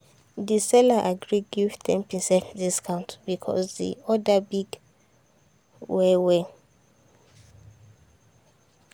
the seller agree give ten percent discount because the order big the order big well well.